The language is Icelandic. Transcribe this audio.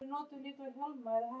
Börnin öll þau elska hann.